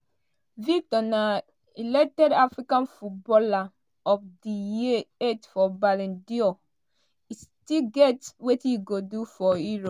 victor na elected african footballer of di year eighth for ballon d'or e still get wetin e go do for europe."